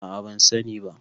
a a ban sani ba